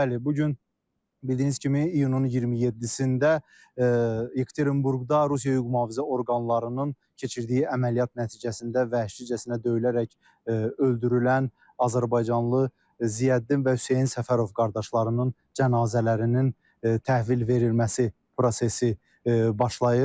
Bəli, bu gün bildiyiniz kimi iyunun 27-də Yekaterinburqda Rusiya hüquq-mühafizə orqanlarının keçirdiyi əməliyyat nəticəsində vəhşicəsinə döyülərək öldürülən azərbaycanlı Ziyəddin və Hüseyn Səfərov qardaşlarının cənazələrinin təhvil verilməsi prosesi başlayır.